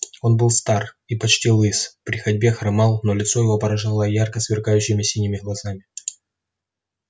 он был стар и почти лыс при ходьбе хромал но лицо его поражало ярко сверкающими синими глазами